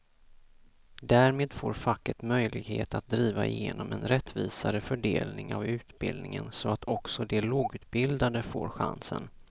Därmed får facket möjlighet att driva igenom en rättvisare fördelning av utbildningen så att också de lågutbildade får chansen.